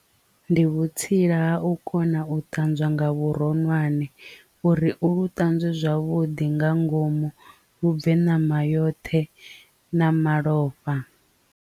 Ndi vhutsila ha u kona u ṱanzwa nga vhuronwane uri u lu ṱanzwe zwavhuḓi nga ngomu lu bve ṋama yoṱhe na malofha.